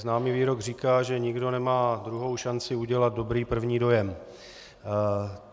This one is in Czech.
Známý výrok říká, že nikdo nemá druhou šanci udělat dobrý první dojem.